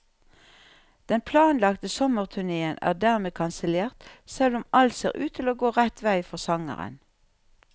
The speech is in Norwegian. Den planlagte sommerturnéen er dermed kansellert, selv om alt ser ut til å gå rett vei for sangeren.